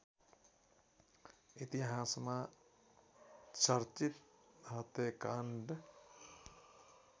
इतिहासमा चर्चित हत्याकाण्ड